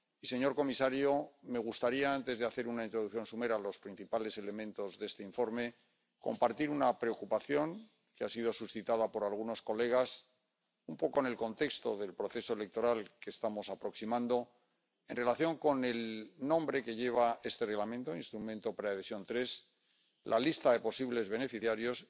Señor comisario, me gustaría, antes de hacer una introducción somera a los principales elementos de este informe, compartir una preocupación que ha sido suscitada por algunos colegas, un poco en el contexto del proceso electoral al que nos estamos aproximando, en relación con el nombre que lleva este Reglamento —Instrumento de Ayuda Preadhesión y la lista de posibles beneficiarios.